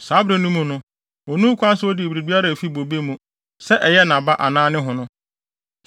Saa bere no mu no, onni ho kwan sɛ odi biribiara a efi bobe mu, sɛ ɛyɛ nʼaba anaa ne hono.